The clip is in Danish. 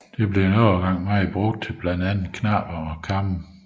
Det blev en overgang meget brugt til blandt andet knapper og kamme